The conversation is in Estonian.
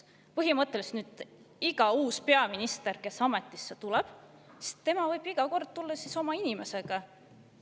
Põhimõtteliselt nüüdsest võib iga uus peaminister, kes ametisse astub, tulla oma inimesega.